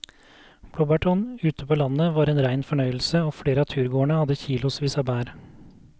Blåbærturen ute på landet var en rein fornøyelse og flere av turgåerene hadde kilosvis med bær.